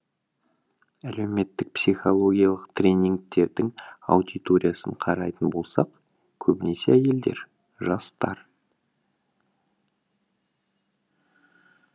әлеуметтік психологиялық тренингтердің аудиториясын қарайтын болсақ көбінесе әйелдер жастар